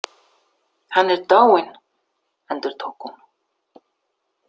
Hann er dáinn, endurtók hún.